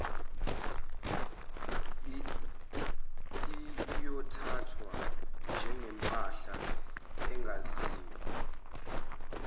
iyothathwa njengempahla engaziwa